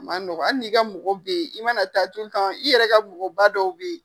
A ma nɔgɔ ali n'i ka mɔgɔ be yen i mana taa cun u kan i yɛrɛ ka mɔgɔba dɔw be yen